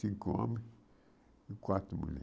Cinco homens e quatro